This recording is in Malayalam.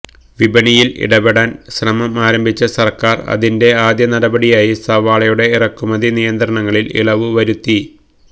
വിപണിയിൽ ഇടപെടാൻ ശ്രമം ആരംഭിച്ച സർക്കാർ ഇതിന്റെ ആദ്യ നടപടിയായി സവാളയുടെ ഇറക്കുമതി നിയന്ത്രണങ്ങളിൽ ഇളവ് വരുത്തി